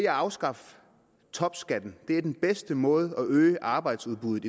afskaffe topskatten er den bedste måde at øge arbejdsudbuddet